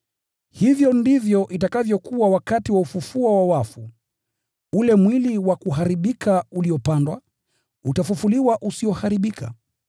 Hivyo ndivyo itakavyokuwa wakati wa ufufuo wa wafu. Ule mwili wa kuharibika uliopandwa, utafufuliwa usioharibika,